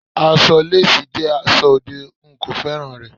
Aṣọ lásìì jẹ́ aṣọ òde, n kò féràn rẹ̀.